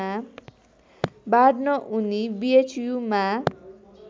बाँड्न उनी बिएचयुमा